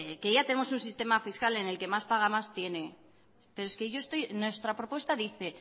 que ya tenemos un sistema fiscal en el que más paga el que más tiene nuestra propuesta dice